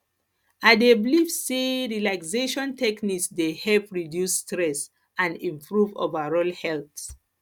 i dey believe say relaxation techniques dey help reduce stress and improve overall health